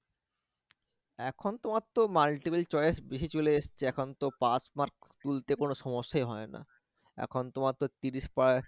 এখন তোমার তো multiple choice বেশি চলে এসছে এখন তো পাশ mark তুলতে কোন সমস্যাই হয় না এখন তোমার তো ত্রিশ পাওয়ায়,